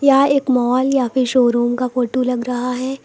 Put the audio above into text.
यह एक मॉल या फिर शोरूम का फोटो लग रहा है।